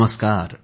नमस्कार